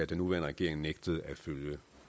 den nuværende regering nægtede at følge